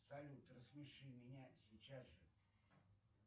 салют рассмеши меня сейчас же